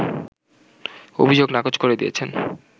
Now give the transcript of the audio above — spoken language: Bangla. অভিযোগ নাকচ করে দিয়েছেন